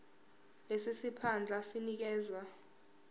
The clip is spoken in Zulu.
lesi siphandla sinikezwa